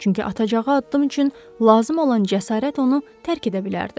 Çünki atacağı addım üçün lazım olan cəsarət onu tərk edə bilərdi.